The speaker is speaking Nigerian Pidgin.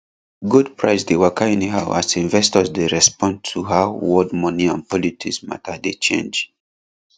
gold price dey waka anyhow as investors dey respond to how world moni and politics matter dey change